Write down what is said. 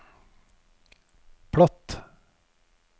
platt